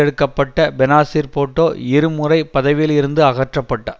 எடுக்க பட்ட பெனாசீர் பூட்டோ இருமுறை பதவியில் இருந்து அகற்ற பட்டார்